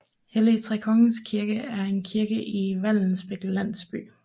Helligtrekongers Kirke er en kirke i Vallensbæk Landsby